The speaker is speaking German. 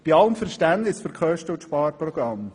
Bei allem Verständnis für die Kosten und das Sparprogramm: